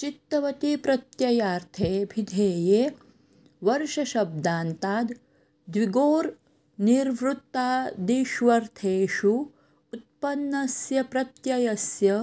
चित्तवति प्रत्ययार्थे ऽभिधेये वर्षशब्दान्ताद् द्विगोर् निर्वृत्तादिष्वर्थेषु उत्पन्नस्य प्रत्ययस्य